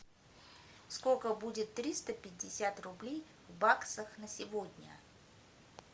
сколько будет триста пятьдесят рублей в баксах на сегодня